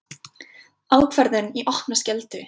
Ákvörðun í opna skjöldu